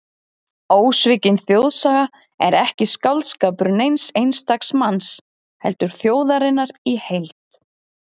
Ósvikin þjóðsaga er ekki skáldskapur neins einstaks manns, heldur þjóðarinnar í heild.